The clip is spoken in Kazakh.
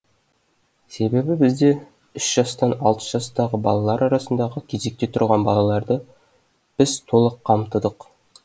себебі бізде үш жастан алты жастағы балалар арасындағы кезекте тұрған балаларды біз толық қамтыдық